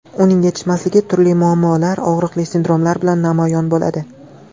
Uning yetishmasligi turli muammolar, og‘riqli sindromlar bilan namoyon bo‘ladi.